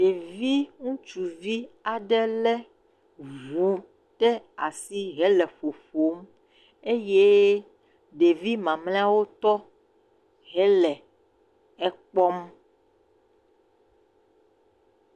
Ɖevi ŋutsuvi aɖe lé ŋu ɖe asi hele ƒoƒo eye ɖevi mamleawo tɔ hele ekpɔm